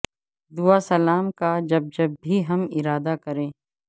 دعا سلام کا جب جب بھی ہم ارادہ کریں